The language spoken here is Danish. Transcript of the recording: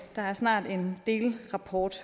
der er snart en delrapport